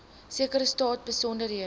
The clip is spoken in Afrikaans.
sekere saak besonderhede